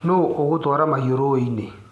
Nũ ũgũtwara mahiũ rũĩini.